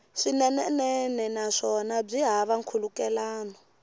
swinene naswona byi hava nkhulukelano